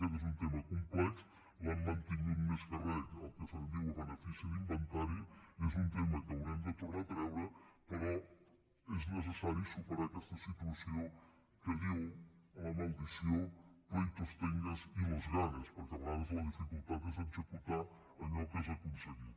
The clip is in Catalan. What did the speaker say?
aquest és un tema complex l’hem mantingut més que re el que se’n diu a benefici d’inventari és un tema que haurem de tronar a treure però és necessari superar aquesta situació que diu la maledicció pleitos tengas y los ganes perquè a vegades la dificultat és executar allò que has aconseguit